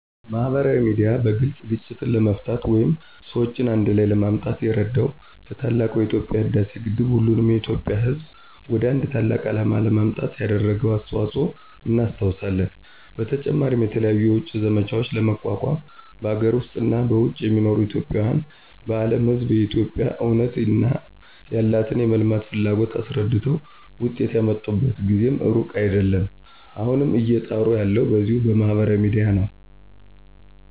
ማህበራዊ ሚድያ በግልፅ ግጭትን ለመፍታት ወይም ሰዎችን አንድ ላይ ለማምጣት የረዳው ለታላቁ የኢትዬጵያ የህዳሴ ግድብ ሁሉንም የኢትዬጵያ ህዝብ ወደ አንድ ታላቅ አላማ ለማምጣት ያደረገውን አስተዋጽኦ እናስታውሳለን። በተጨማሪም የተለያዩ የውጭ ዘመቻዎችን ለመቋቋም በአገር ውስጥ እና በውጭ የሚኖሩ ኢትዬጵያዊን ለአለም ህዝብ የኢትዬጵያን እውነት እና ያላትን የመልማት ፍላጎት አስረድተው ውጤት ያመጡበት ጊዜም ሩቅ አይዴለም። አሁንም እየጣሩ ያለው በዚሁ በማህበራዊ ሚዲያ ነው።